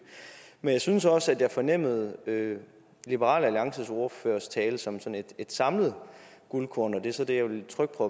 men jeg synes også at jeg fornemmede liberal alliances ordførers tale som sådan et samlet guldkorn og det er så der jeg vil trykke på